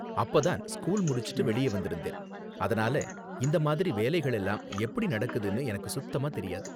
அப்ப தான் ஸ்கூல் முடிச்சிட்டு வெளியே வந்திருந்தேன், அதனால இந்த மாதிரி வேலைகளெல்லாம் எப்படி நடக்குதுன்னு எனக்கு சுத்தமா தெரியாது.